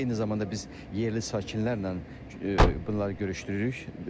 Eyni zamanda biz yerli sakinlərlə bunları görüşdürürük.